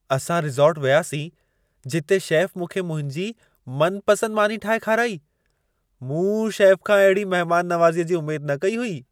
असां रिसोर्ट वियासीं, जिते शेफ़ मूंखे मुंहिंजी मनपसंदि मानी ठाहे खाराई। मूं शेफ़ खां अहिड़ी महिमान नवाज़ीअ जी उमेद न कई हुई।